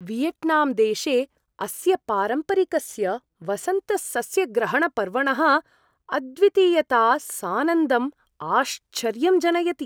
Vietnam देशे अस्य पारम्परिकस्य वसन्तसस्यग्रहणपर्वणः अद्वितीयता सानन्दम् आश्चर्यं जनयति।